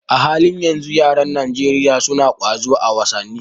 A halin yanzu, yaran Najeriya suna ƙwazo a wasanni.